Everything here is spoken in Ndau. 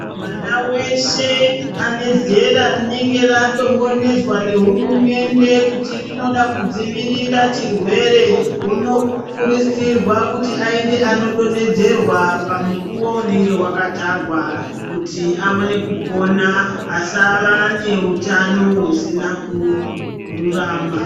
Mwana weshe anezera rinenge radongonodzwa nehurumende kuti rinoda kudzivirira chirwere unokurudzirwa kuti aende kunodonhedzerwa pamukuwo unenge wakatarwa kuti aone kupona asava neutano usina kururama.